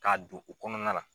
K'a don u kɔnɔna la.